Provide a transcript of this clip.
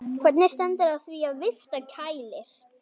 Hvernig stendur á því að vifta kælir?